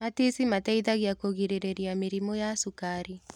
Matici mateithagia kũgirĩrĩria mĩrimũ ya cukari.